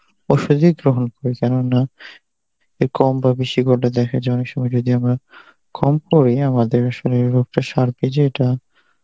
ওষুধই গ্রহন করি, কে কম বা বেশি কটা দেখা যায় অনেক সময় যদিও বা কম আমাদের শরীরের রোগটা সারতে যেটা